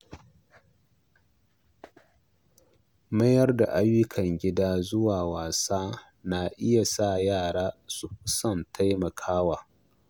Mayar da ayyukan gida zuwa wasa na iya sa yara su fi son taimakawa.